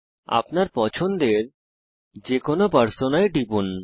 আপনার পছন্দের যেকোনো পার্সোনায় টিপুন